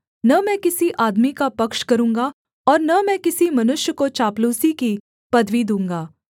न मैं किसी आदमी का पक्ष करूँगा और न मैं किसी मनुष्य को चापलूसी की पदवी दूँगा